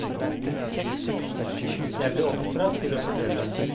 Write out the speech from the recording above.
Jeg ble oppdratt til å fortelle.